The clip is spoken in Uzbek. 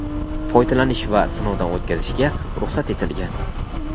foydalanish va sinovdan o‘tkazishga ruxsat etilgan.